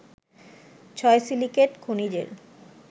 ছয় সিলিকেট খনিজের